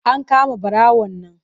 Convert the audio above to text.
An kama ɓarawon nan.